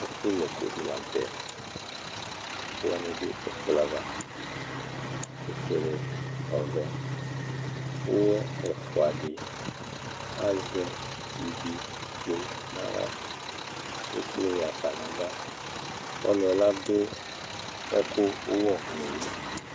Ɛfʋ yɛkʋ dɩ la nʋ tɛ ,ɛkʋwanɩ dʋ ɛkplɔ yɛ ava ,ofuele ,ɔvɛ Ʋwɔ ɛfʋa dɩ azǝ ivi dzo n'aɣla Ekple ɣa fa n'ava Ɔlʋɛ ladʋ ɛkʋ ʋwɔnʋlɩ